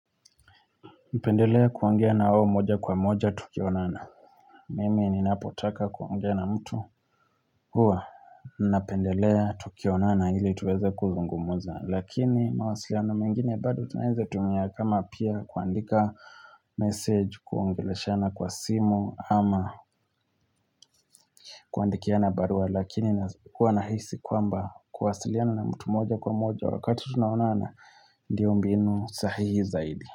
Napendelea kuongea na wao moja kwa moja tukionana Mimi ni napotaka kuangea na mtu Huwa, napendelea tukionana ili tuweze kuzungumuza Lakini mawasiliano mengine bado tunaeza tumia kama pia kuandika message kuongeleshana kwa simu ama kuandikiana barua lakini huwa nahisi kwamba kuwasiliana na mtu moja kwa moja Wakati tunaona na ndio mbinu sahihi zaidi.